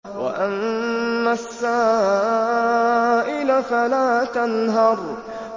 وَأَمَّا السَّائِلَ فَلَا تَنْهَرْ